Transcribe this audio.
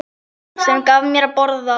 Sem gaf mér að borða.